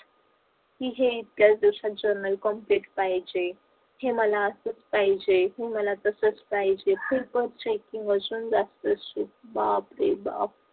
हे equation complete पाहिजे हे मला असच पाहिजे हे मला तसच पाहिजे बापरे बाप